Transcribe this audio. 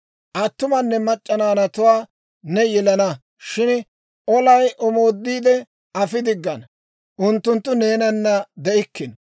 Attumanne mac'c'a naanatuwaa ne yelana; shin olay omooddi afi diggina, unttunttu neenana de'ikkino.